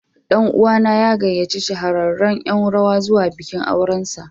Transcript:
Ɗan'uwa na ya gayyaci shahararren Yan rawa zuwa bikin aurensa.